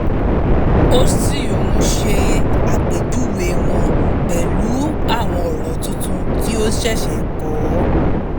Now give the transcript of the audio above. ó sì ń ṣe àpèjúwe wọn pẹ̀lú àwọn ọ̀rọ̀ tuntun tí ó ṣẹ̀ṣẹ̀ kọ́